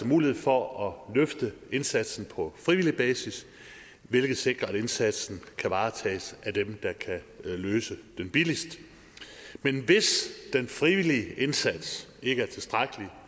mulighed for at løfte indsatsen på frivillig basis hvilket sikrer at indsatsen kan varetages af dem der kan løse den billigst men hvis den frivillige indsats ikke er tilstrækkelig